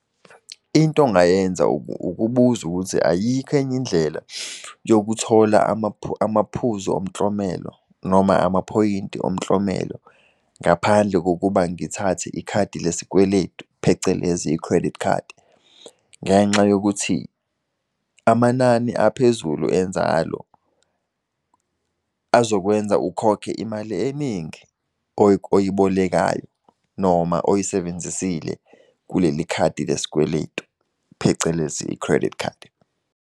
Into ongayenza ukubuza ukuthi ayikho enye indlela yokuthola amaphuzu omklomelo noma amaphoyinti omklomelo, ngaphandle kokuba ngithathe ikhadi lesikweletu, phecelezi i-credit card. Ngenxa yokuthi amanani aphezulu enzalo, azokwenza ukhokhe imali eningi oyibolekayo noma oyisebenzisile kuleli khadi lesikweletu phecelezi i-credit card.